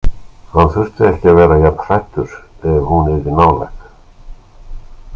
Hann þyrfti ekki að vera jafn hræddur ef hún yrði nálæg.